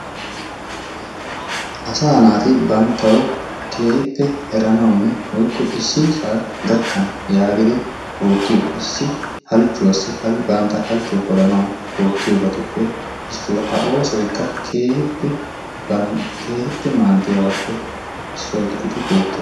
Asaa naati banttawu keehippe eranawunne woykko issisaa gakkana yaagidi oottiyo issi halchchuwaassi bantta halchchuwa polanawu ooyyiyobatuppe issuwa. A oosoyikka keehippe maaddiyabaappe issuwa gididi beettes.